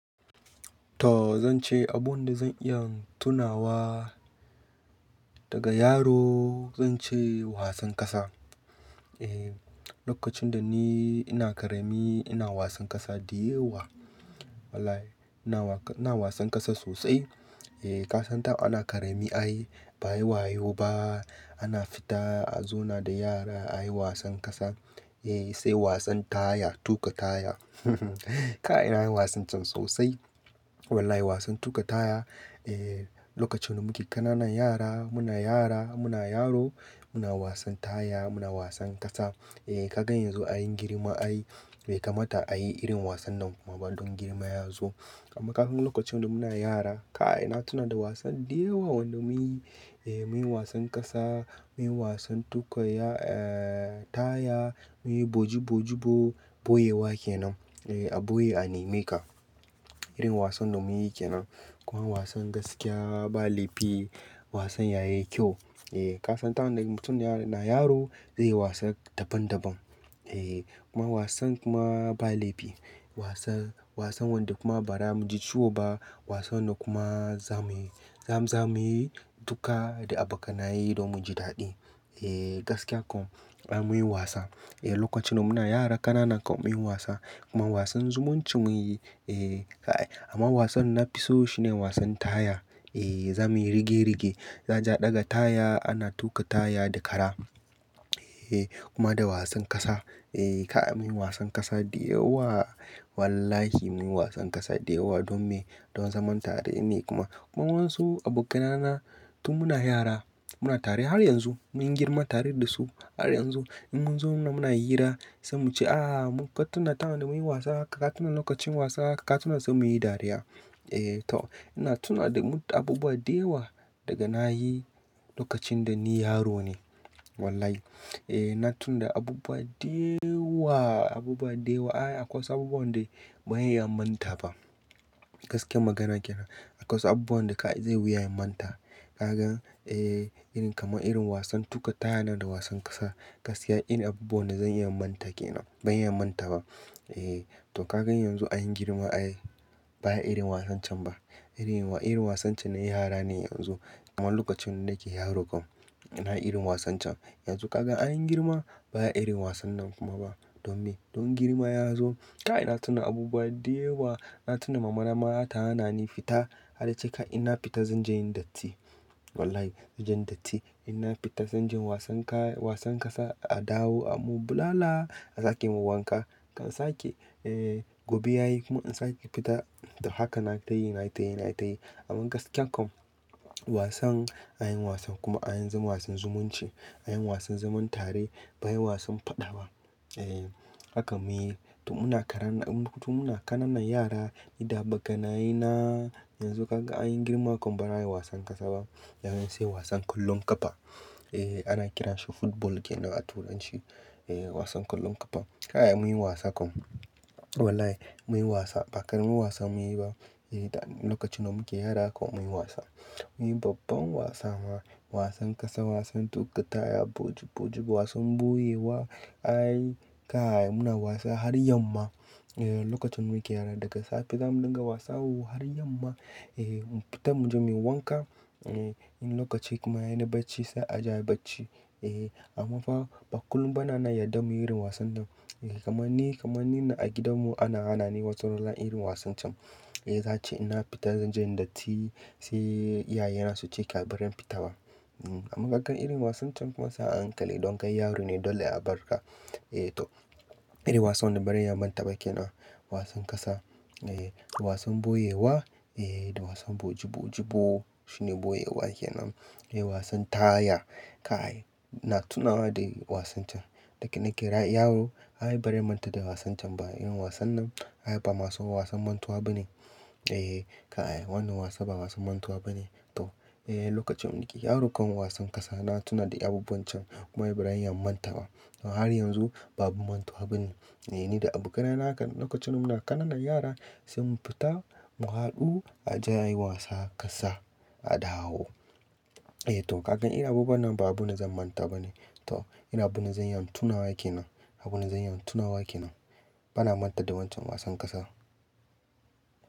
To zance abun da zan iya tunawa daga yaro, zan ce wasan ƙasa. Eh, lokacin da ni ina ƙarami ina wasan ƙasa diyawa. Wallahi ina wa-- ina wasan ƙasa sosai. Eh, ka san tana ƙarami ai, ba'ayi wayo ba, ana fita a zauna da yara ayi wasan ƙasa. Eh, sai wasan taya, tuƙa taya. Kai, nayi na yi wasan can sosai. Wallahi wasan tuƙa taya, eh, lokacin da muke ƙanana yara muna yara muna yaro muna wasan taya muna wasan ƙasa. Eh, ka gan yanzu anyi girma ai bai kamata ayi irin wasan nan kuma ba don girma ya zo. Amma ka gan lokacin da muna yara, kai na tuna da wasan diyawa wanda mun yi. Eh, mun yi wasan ƙasa, mun yi wasan tuƙa ya-- eh, taya, mun yi bojibo-jibo boyewa ke nan. Eh, a boye a nemi ka. Irin wasan da mun yi ke nan. Kuma wasan gaskiya ba laifi, wasan yayi kyau. Eh, ka san tana mutum na yaro zai yi wasan daban daban. Eh, kuma wasan kuma ba laifi. Wasan, wasan wanda kuma ba ra mu ji ciwo ba wasan da kuma za muyi. Zamu yi duka da abokanaye don mu ji daɗi. Eh, gaskiya kam ai mun yi wasa. Eh, lokacin da muna yara ƙanana kan mun yi wasa kuma wasan zumunci mun yi. Eh, kai, amma wasan na fi so shi ne wasan taya. Eh, zamuyi rige-rige, za a je a ɗaga taya ana tuƙa taya da kara. Eh, kuma da wasan ƙasa. Eh, kai, mun yi wasan ƙasa diyawa. Wallahi mun yi wasan ƙasa diyawa don me? Don zaman tare ne kuma, kuma wasu abokanana tun muna yara muna tare har yanzu mun yi girma tare da su har yanzu. In mun zo muna hira sai muce "ahhh muka tuna tana da mun yi wasa haka ka tuna lokacin wasa haka ka tuna" sai muyi dariya. Eh to, ina tuna da abubuwa diyawa daga nayi lokacin da ni yaro ne. Wallahi. Eh, na tuna da abubuwa diyawa, abubuwa diyawa. Ai akwai su abubuwan da ban iya manta ba. Gaskiyar magana kenan. Akwai wasu abubuwan da ka ai zai wuyaye manta. Ka gan irin kamar irin wasan tuƙa taya nan da wasan ƙasa. Gaskiya irin abubuwan da zan iya manta kenan. Ban iya manta ba. Eh, to ka gan yanzu anyi girma ai baya irin wasan can ba. Irin, irin wasan can na yara ne yanzu. Amma lokacin da nake yaro kan ina irin wasan can. Yanzu ka gan anyi girma baya irin wasan nan kuma ba. Don me? Don girma ya zo. Ka ai na tuna abubuwa diyawa. Na tuna mama na mata hana ni fita har da ce ka ai ina fita zan je yin datti. Wallahi zan je datti. Ina fita zan je wasan ka-- wasan ƙasa a dawo a mu bulala a sake mu wanka. Kan sake, eh, gobe yayi kuma in sake fita. To haka na ta yi, na ta yi, na ta yi. Amma gaskiya kam wasan, anyi wasan kuma anyi zaman wasan zumunci. Anyi wasan zaman tare bai yi wasan faɗa ba. Eh, haka mun yi. To muna karan-- to muna ƙanana yara, idan abokanaye na yanzu ka gan anyi girma kam ba ra yi wasan ƙasa ba. Yanzy sai wasan kullun ƙafa. Eh, ana kiran shi football kenan a turanci. Eh, wasan kullun ƙafa. Ka ai mun yi wasa kam. Wallahi mun yi wasa, ba karamin wasan mun yi ba. Eh, da lokacin da muke yara kan mun yi wasa. Mun yi babban wasa ma. Wasan ƙasa, wasan tuƙa taya, bojibo-jibo, wasan boyewa. Ai ka ai muna wasa har yamma. Eh, lokacin muke yara daga safe zamu dinga wasa har yamma. Eh, mu fita mu je muyi wanka. Eh, in lokaci kuma yayi na bacci sai a je a yi bacci. Eh, amma fa, ba kullum bane na yarda muyi irin wasan nan. Eh, kamar ni, kamar ni na a gidan mu ana hana ni wata rana irin wasan can. Eh, za'ace ina fita zan je yin datti sai iyaye na su ce kai a barin fita ba? Amma ka gan irin wasan can kuma se ahankali, ɗon kai yaro ne dole a bar ra. Eh to, irin wasan da baran iya manta ba kenan. Wasan ƙasa, eh, wasan boyewa, eh, da wasan bojibo-jibo. Shine boyewa kenan. Eh, wasan taya. Kai, ina tunawa da irin wasan can. Daga nake yaro ai barin manta da wasan can ba. Irin wasan nan ai ba masu wasan mantuwa ba ne. Eh, ka ai wannan wasa ba wasan mantuwa ba ne. To, eh, lokacin mun yake yaro kan wasan ƙasa na tuna da abubuwan can. Kuma wai barin yin manta ba. To har yanzu babu mantuwa ba ne. Eh ni da abokanaye haka lokacin da muna ƙanana yara sai mu fita mu haɗu a je a yi wasa ƙasa, a dawo. Eh to ka gan irin abubuwan nan ba abubuwan da zan manta ba ne. To, irin abun da zan iya tunawa kenan. Abubuwan da zan iya tunawa kenan. Bana manta da wancan wasan ƙasa.